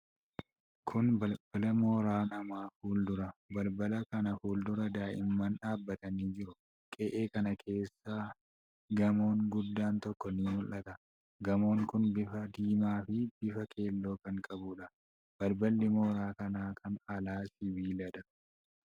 Kun balbala mooraa namaa fuuldura. Balbala kana fuuldura daa'imman dhaabatanii jiru. Qe'ee kana keessa gamoon guddaan tokko ni mul'ata. Gamoon kun bifa diimaa fi bifa keelloo kan qabuudha. Balballi mooraa kanaa kan alaa sibiiladha.